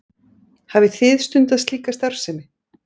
Hafið þið stundað slíka starfsemi?